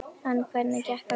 En hvernig gekk að kjósa?